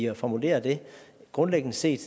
at formulere det grundlæggende set